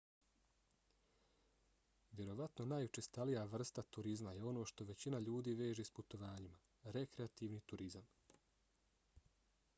vjerovatno najučestalija vrsta turizma je ono što većina ljudi veže s putovanjima - rekreativni turizam